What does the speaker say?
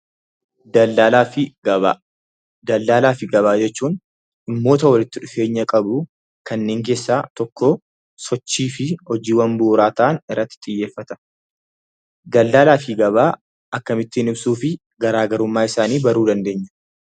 Daldaala fi gabaa jechuun dhimmoota walitti dhufeenya qabu kanneen keessaa to sochii fi hojiiwwan bu'uuraa ta'an irratti xiyyeeffata. Daldaala fi gabaa akkamitti ibsuu fi garaagarummaa isaanii ibsuu dandeenya?